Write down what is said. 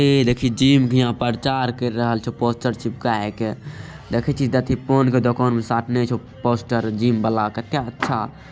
ई देखी जिम भी यहाँ परचार कर रहल छे पोस्टर चिपकाय के। देखी छी दथी पान के दुकान में साटने छो पोस्टर जिम बला के क्या अच्छा--